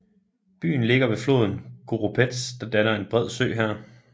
Byen ligger ved floden Koropets der danner en bred sø her